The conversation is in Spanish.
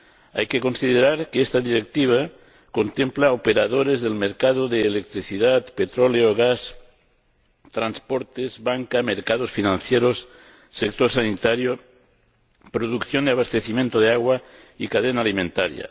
Hay que considerar que esta Directiva contempla operadores del mercado de la electricidad, el petróleo, el gas, los transportes, la banca, los mercados financieros, el sector sanitario, la producción y el abastecimiento de agua y la cadena alimentaria.